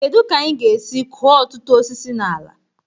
Kedu ka anyị ga-esi kụọ ọtụtụ osisi na ala?